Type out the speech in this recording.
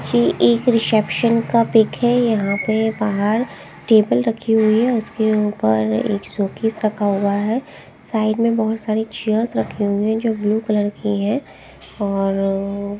जी एक रिसेप्शन का पिक है यहां पे बाहर टेबल रखी हुई है उसके ऊपर एक शोकैस रखा हुआ है साइड में बहुत सारी चेयर्स रखे हुए हैं जो ब्लू कलर की है और --